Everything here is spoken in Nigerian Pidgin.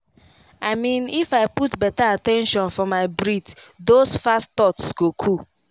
i mean if i put better at ten tion for my breath those fast thoughts go cool.